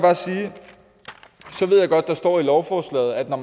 godt at der står i lovforslaget at når